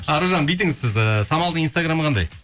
аружан бүйтіңіз сіз ііі самалдың инстаграмы қандай